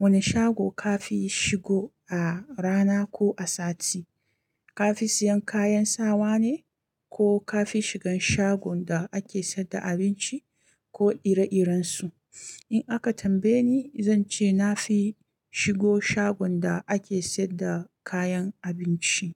wane shago ka fi shigo a rana ko a sati. Ka fi siyan kayan sawa ne ko ka fi shigan shagon da ake sayar da abinci ko ire-irensu? In aka tambaye ni, zan ce na fi shigo shagon da ake sayar da kayan abinci.